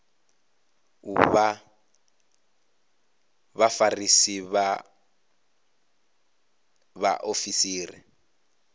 u vha vhafarisi vha vhaofisiri